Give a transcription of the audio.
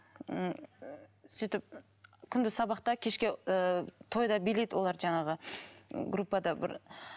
м сөйтіп күнде сабақта кешке ы тойда билейді олар жаңағы группада бір